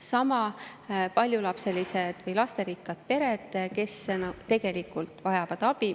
Sama käib paljulapseliste perede kohta, kes tegelikult vajavad abi.